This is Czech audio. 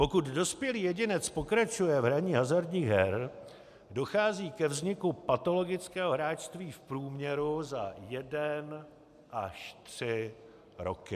Pokud dospělý jedinec pokračuje v hraní hazardních her, dochází ke vzniku patologického hráčství v průměru za jeden až tři roky.